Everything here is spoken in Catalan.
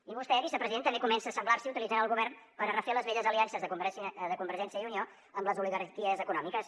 i vostè vicepresident també comença a assemblar s’hi utilitzant el govern per refer les velles aliances de convergència i unió amb les oligarquies econòmiques